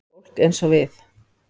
Fólk eins og við.